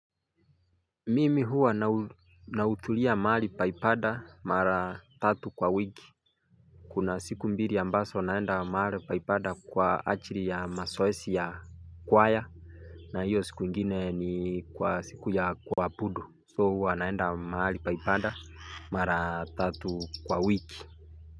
Mimi huwa nahudhuria mahali pa ibada mara tatu kwa wiki Kuna siku mbili ambazo naenda mahali pa ibada kwa ajili ya mazoezi ya kwaya na hiyo siku ingine ni kwa siku ya kuabudu So huwa naenda mahali pa ibada mara tatu kwa wiki.